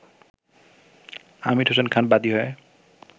আমীর হোসেন খান বাদী হয়ে